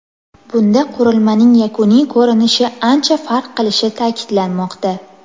Bunda qurilmaning yakuniy ko‘rinishi ancha farq qilishi ta’kidlanmoqda.